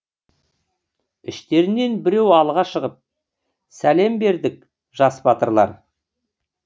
іштерінен біреу алға шығып сәлем бердік жас батырлар